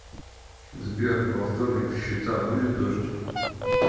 сбер во вторник в счета будет дождь